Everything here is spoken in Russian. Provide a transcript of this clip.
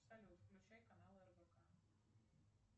салют включай канал рбк